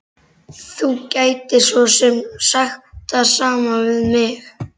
Þú gætir svo sem sagt það sama við mig.